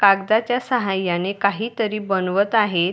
कागदाच्या साह्याने काही तरी बनवत आहे.